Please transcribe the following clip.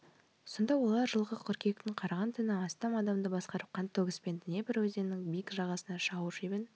сонда олар жылғы қыркүйектің қараған түні астам адамды басқарып қантөгіспен днепр өзенінің биік жағасына жау шебін